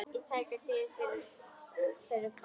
Í tæka tíð fyrir hvað?